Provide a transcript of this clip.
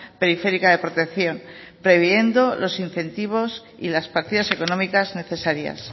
periférica de protección previendo los incentivos y las partidas económicas necesarias